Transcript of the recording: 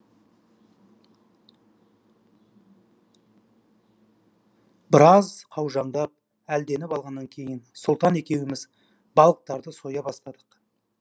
біраз қаужаңдап әлденіп алғаннан кейін сұлтан екеуміз балықтарды соя бастадық